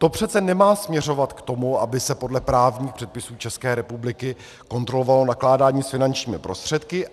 To přece nemá směrovat k tomu, aby se podle právních předpisů České republiky kontrolovalo nakládání s finančními prostředky.